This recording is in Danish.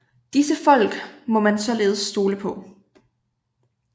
Disse folk må man således stole på